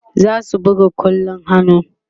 zasu buga kwallon hannu